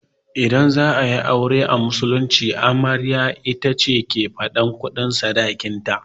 Idan za'ayi aure a musulunce, amaryar ita ke faɗan sadakin ta